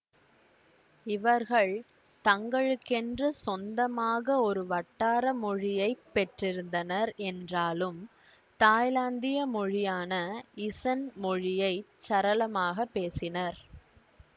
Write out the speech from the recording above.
இவர்கள் தங்களுக்கென்று சொந்தமாக ஒரு வட்டார மொழியை பெற்றிருந்தனர் என்றாலும் தாய்லாந்திய மொழியான இசன் மொழியைச் சரளமாக பேசினர்